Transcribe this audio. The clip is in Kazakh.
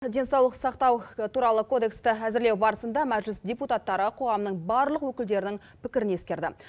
денсаулық сақтау туралы кодексті әзірлеу барысында мәжіліс депутаттары қоғамның барлық өкілдерінің пікірін ескерді